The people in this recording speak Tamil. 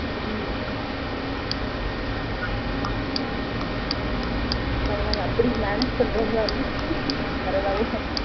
ம் பரவ இல்ல அப்டி manage பண்றவங்களா இருந்த பரவ இல்ல